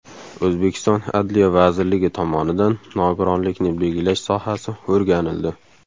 O‘zbekiston Adliya vazirligi tomonidan nogironlikni belgilash sohasi o‘rganildi.